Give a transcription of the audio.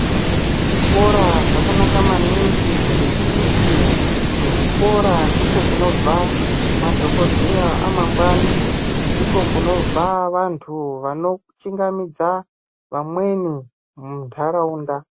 Zvikora zvakanaka maningi ngekuti ku zvikora ndiko kunobva madhokodheya amangwani ndiko kunobva vantu vano chingamidza vamweni mu ndaraunda.